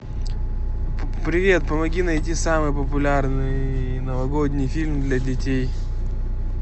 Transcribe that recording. привет помоги найти самый популярный новогодний фильм для детей